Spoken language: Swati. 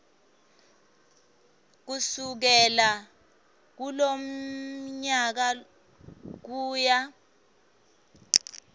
kusukela kulomnyaka kuya